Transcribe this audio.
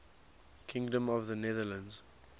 kingdom of the netherlands